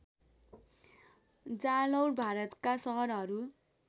जालौर भारतका सहरहरू